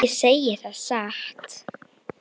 Það segi ég satt.